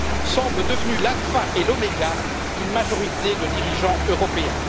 semble devenue l'alpha et l'oméga d'une majorité de dirigeants européens.